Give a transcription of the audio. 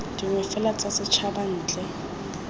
dingwe fela tsa setshaba ntle